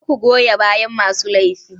Kar ku goya bayan masu laifi.